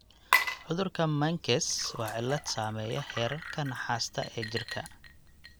Cudurka Menkes waa cillad saameeya heerarka naxaasta ee jirka.